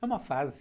É uma fase.